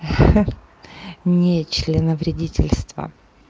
ха-ха не членовредительство